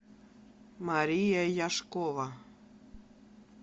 мария яшкова